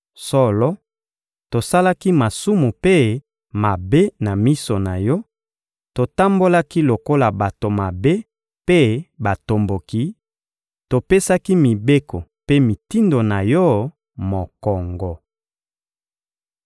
solo, tosalaki masumu mpe mabe na miso na Yo, totambolaki lokola bato mabe mpe batomboki, topesaki mibeko mpe mitindo na Yo mokongo.